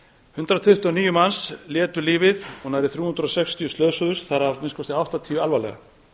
hundrað tuttugu og níu manns létu lífið og nærri þrjú hundruð og sextíu slösuðust þar af að minnsta kosti áttatíu alvarlega